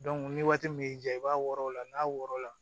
ni waati min y'i ja i b'a wɔrɔ o la n'a wɔrɔn la